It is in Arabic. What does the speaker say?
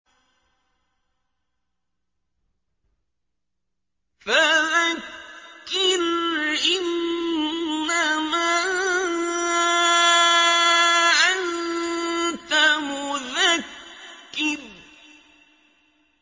فَذَكِّرْ إِنَّمَا أَنتَ مُذَكِّرٌ